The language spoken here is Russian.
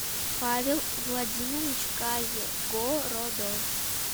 павел владимирович кайгородов